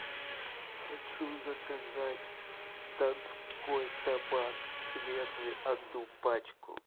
хочу заказать донской табак светлый одну пачку